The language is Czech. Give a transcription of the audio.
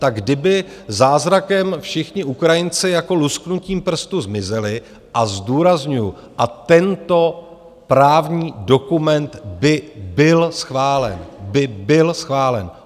Tak kdyby zázrakem všichni Ukrajinci jako lusknutím prstu zmizeli, a zdůrazňuju, a tento právní dokument by byl schválen - by byl schválen.